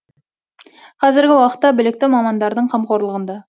қазіргі уақытта білікті мамандардың қамқорлығында